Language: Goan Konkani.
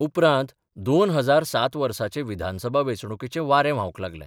उपरांत 2007 वर्साचे विधानसभा वेंचणुकेचें वारें व्हावंक लागलें.